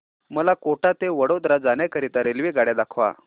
मला कोटा ते वडोदरा जाण्या करीता रेल्वेगाड्या दाखवा